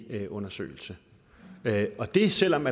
lægeundersøgelse og det selv om